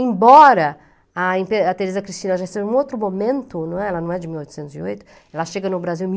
Embora a empe a Teresa Cristina já esteja em um outro momento, não é, ela não é de mil oitocentos e oito, ela chega no Brasil em mil